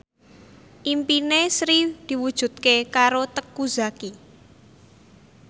impine Sri diwujudke karo Teuku Zacky